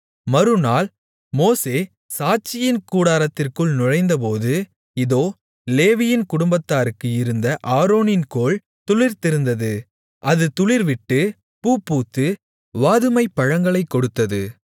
மறுநாள் மோசே சாட்சியின் கூடாரத்திற்குள் நுழைந்தபோது இதோ லேவியின் குடும்பத்தாருக்கு இருந்த ஆரோனின் கோல் துளிர்த்திருந்தது அது துளிர்விட்டு பூப்பூத்து வாதுமைப் பழங்களைக் கொடுத்தது